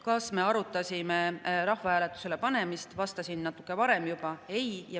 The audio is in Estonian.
Kas me arutasime rahvahääletusele panemist, sellele ma vastasin juba natuke varem: ei.